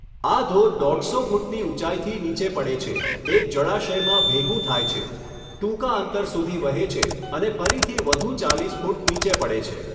આ ધોધ દોઢસો ફૂટની ઊંચાઈથી નીચે પડે છે, એક જળાશયમાં ભેગું થાય છે, ટૂંકા અંતર સુધી વહે છે અને ફરીથી વધુ ચાલીસ ફૂટ નીચે પડે છે.